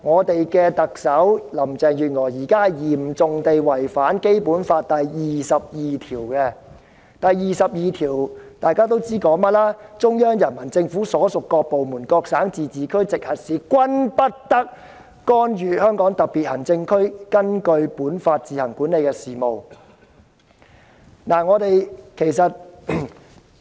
特首林鄭月娥現時嚴重違反《基本法》第二十二條，因該條文訂明："中央人民政府所屬各部門、各省、自治區、直轄市均不得干預香港特別行政區根據本法自行管理的事務。